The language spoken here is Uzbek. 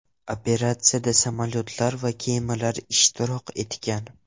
Operatsiyada samolyotlar va kemalar ishtirok etgan.